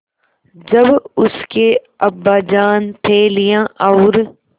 जब उसके अब्बाजान थैलियाँ और